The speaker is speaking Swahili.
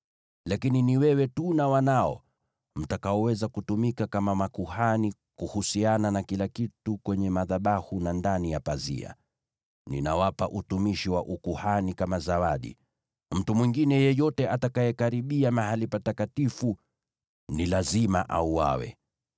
Lakini ni wewe tu na wanao mtakaoweza kutumika kama makuhani kuhusiana na kila kitu kwenye madhabahu na ndani ya pazia. Ninawapa utumishi wa ukuhani kama zawadi. Mtu mwingine yeyote atakayekaribia mahali patakatifu ni lazima auawe.”